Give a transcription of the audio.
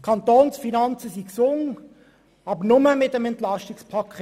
Die Kantonsfinanzen sind gesund, aber nur mit dem EP 2018.